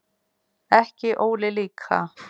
Ekki Óli líka.